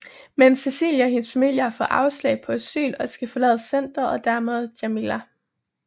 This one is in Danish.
Men Cecilie og hendes familie har fået afslag på asyl og skal forlade centret og dermed Jamila